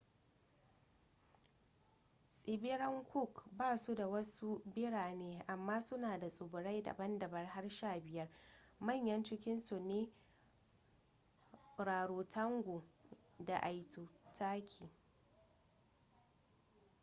tsibiran cook ba su da wasu birane amma suna da tsibirai daban-daban har 15 manyan cikinsu su ne rarotonga da aitutaki